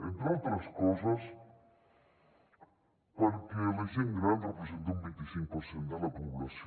entre altres coses perquè la gent gran representa un vint i cinc per cent de la població